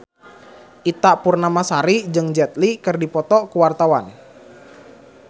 Ita Purnamasari jeung Jet Li keur dipoto ku wartawan